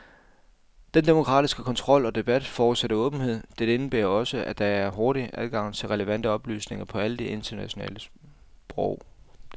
Den demokratiske kontrol og debat forudsætter åbenhed, dette indebærer også, at der er hurtig adgang til relevante oplysninger på alle de nationale sprog.